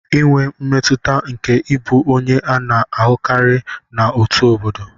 Inwe mmetụta nke ịbụ onye a na-ahụkarị na òtù obodo.